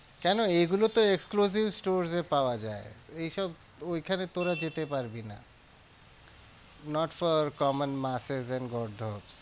কেন এগুলো তো exclusive stores এ পাওয়া যায় এইসব ওইখানে তোরা যেতে পারবি না not for common masters and গর্ধপ।